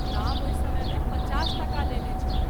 दाम ओहि समय मे पचास टका लेने छल।